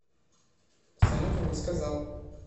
салют он не сказал